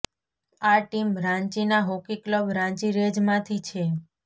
આ ટીમ રાંચીના hockey club Ranchi Rays નામથી છે